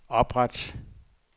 opret